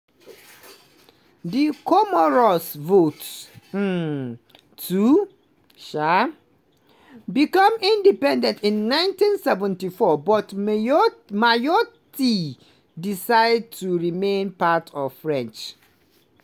di comoros vote um to um become independent in 1974 but mayotte decide to remain part of france.